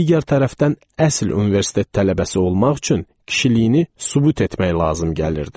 Digər tərəfdən əsl universitet tələbəsi olmaq üçün kişiliyini sübut etmək lazım gəlirdi.